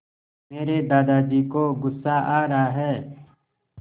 मेरे दादाजी को गुस्सा आ रहा है